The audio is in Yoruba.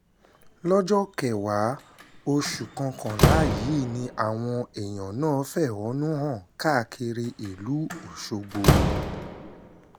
lọ́jọ́kọ́wàá oṣù kọkànlá yìí ni àwọn èèyàn náà fẹ̀hónú hàn káàkiri ìlú ọ̀ṣọ́gbó